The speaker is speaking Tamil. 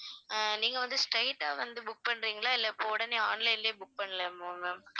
அஹ் நீங்க வந்து straight ஆ வந்து book பண்றீங்களா இல்ல இப்ப உடனே online லயே book பண்ணலாமா ma'am